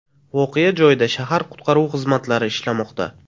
Voqea joyida shahar qutqaruv xizmatlari ishlamoqda.